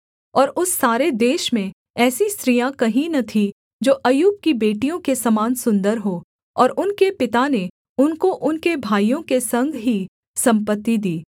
और उस सारे देश में ऐसी स्त्रियाँ कहीं न थीं जो अय्यूब की बेटियों के समान सुन्दर हों और उनके पिता ने उनको उनके भाइयों के संग ही सम्पत्ति दी